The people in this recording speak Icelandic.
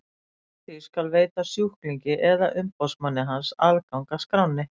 Samkvæmt því skal veita sjúklingi eða umboðsmanni hans aðgang að skránni.